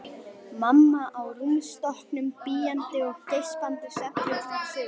Mamma á rúmstokknum bíandi og geispandi svefndrukknar sögur.